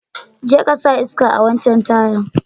Je ka sa iska a'wancan tayan.